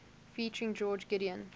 featuring george gideon